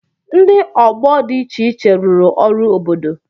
Ndị ọgbọ dị iche iche rụrụ ọrụ obodo.